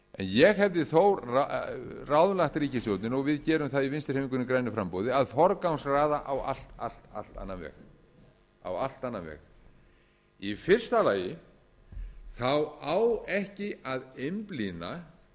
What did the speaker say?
ég hefði þó ráðlagt ríkisstjórninni og við gerum það í vinstri hreyfingunni grænu framboði að forgangsraða á allt allt allt annan veg í fyrsta lagi á ekki að einblína